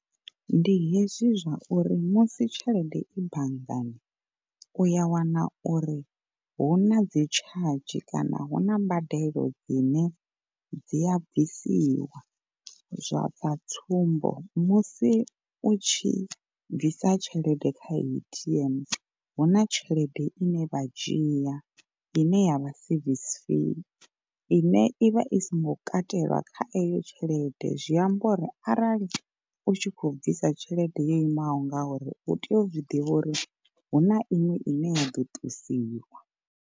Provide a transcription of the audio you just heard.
Ndi hezwi zwa uri musi tshelede i banngani uya wana uri huna dzi tshadzhi kana hu na mbadelo dzine dzi a bvisiwa zwa bva. Tsumbo musi u tshi bvisa tshelede kha A_T_M huna tshelede ine vha dzhia ine yavha service fee, ine ivha i songo katelwa kha eyo tshelede zwi amba uri arali u tshi kho bvisa tshelede yo imaho nga uri u tea u zwiḓivha uri hu na iṅwe ine ya ḓo ṱusiwa.